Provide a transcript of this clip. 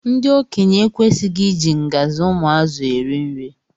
Ndi okenye ekwesighi iji ngzi ụmụ azụ eri nri.